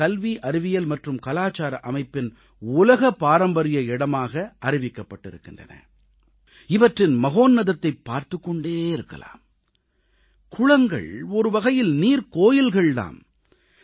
நாவின் கல்வி அறிவியல் மற்றும் கலாச்சார அமைப்பின் உலக பாரம்பரிய இடமாக அறிவிக்கப் பட்டிருக்கின்றன இவற்றின் உன்னதத்தைப் பார்த்துக் கொண்டே இருக்கலாம் குளங்கள் ஒருவகையில் நீர்க்கோயில்கள் தாம்